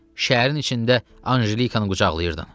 Şəhərin içində Anjelikanı qucaqlayırdın.